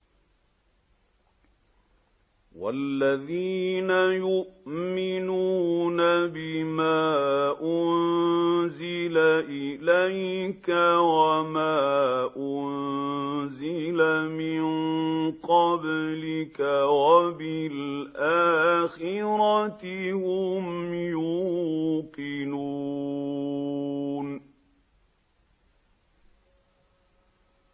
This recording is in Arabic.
وَالَّذِينَ يُؤْمِنُونَ بِمَا أُنزِلَ إِلَيْكَ وَمَا أُنزِلَ مِن قَبْلِكَ وَبِالْآخِرَةِ هُمْ يُوقِنُونَ